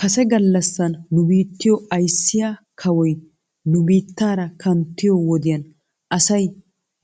Kase galassan nu biittiyo ayssiyaa kawoy nu biittaara kanttiyoo wodiyan asay